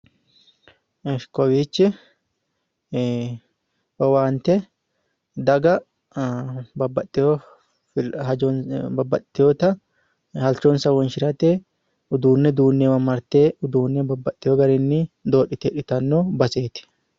Esh kowiichi owaante daga, babbaxxewota halchonsa wonshirate uduunne duunneewa marte uduunne babbaxewo garinni doodhite hidhitanno baseeti.